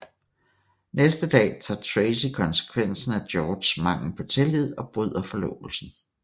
Næste dag tager Tracy konsekvensen af Georges mangel på tillid og bryder forlovelsen